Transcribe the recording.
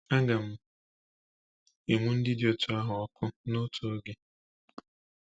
Aga m enwu ndị dị otú ahụ ọkụ n’otu oge.